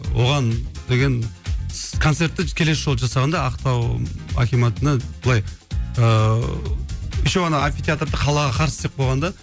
оған деген концертті келесі жолы жасағанда ақтау акиматына былай ыыы еще ана амфитеатрды қалаға қарсы істеп қойған да